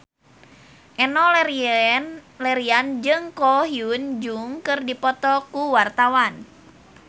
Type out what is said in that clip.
Enno Lerian jeung Ko Hyun Jung keur dipoto ku wartawan